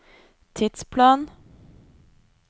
tidsplan